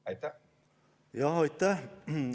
Aitäh!